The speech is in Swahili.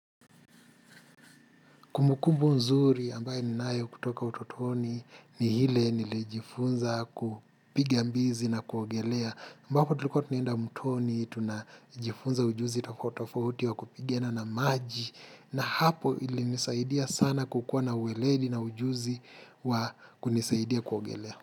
Kumbukumbu mzuri ambayo ninayo kutoka utotoni ni ile niliojifunza kupiga mbizi na kuogelea. Ambapo tulikua tunaenda mtoni, tuna jifunza ujuzi tafautitofauti wa kupigana na maji. Na hapo ili nisaidia sana kukua na uweleli na ujuzi wa kunisaidia kuogelea.